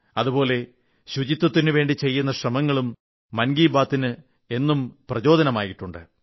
അതുപോലെ ശുചിത്വത്തിന് വേണ്ടി ചെയ്യുന്ന ശ്രമങ്ങളും മൻ കീ ബാത്തിന് എന്നും പ്രചോദനമായിട്ടുണ്ട്